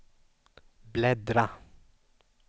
bläddra